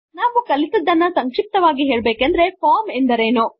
ನಾವು ಕಲಿತದ್ದನ್ನು ಸಂಕ್ಷಿಪ್ತವಾಗಿ ಹೇಳಬೇಕೆಂದರೆ ಫಾರ್ಮ್ ಎಂದರೇನು